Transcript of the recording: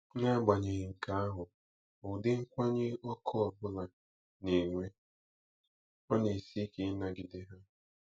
N'agbanyeghị nke ahụ, ụdị nkwanye ọkụ ọ bụla na-enwe, ọ na-esi ike ịnagide ha.